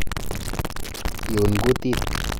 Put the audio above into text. Iun kutit.